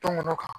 Tɔmɔnɔ kan